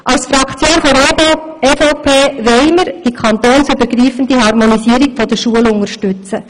Die EVP-Fraktion will die kantonsübergreifende Harmonisierung der Schulen unterstützen.